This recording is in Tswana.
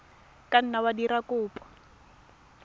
ka nna wa dira kopo